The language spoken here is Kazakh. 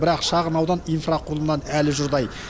бірақ шағын аудан инфрақұрылымнан әлі жұрдай